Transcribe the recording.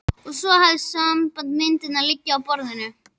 Ég hef svo samband þegar myndirnar liggja á borðinu.